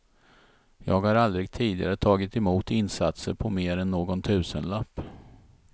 Jag har aldrig tidigare tagit emot insatser på mer än någon tusenlapp.